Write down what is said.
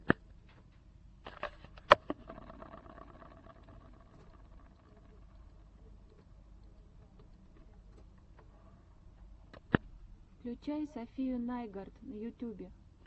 включай сафию найгард на ютубе